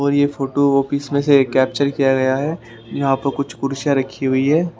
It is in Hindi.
और ये फोटो ऑफिस में से कैप्चर किया गया है यहां पर कुछ कुर्सी रखी हुई है।